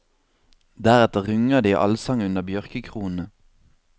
Deretter runger det i allsang under bjørkekronene.